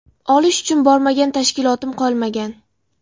Olish uchun bormagan tashkilotim qolmagan.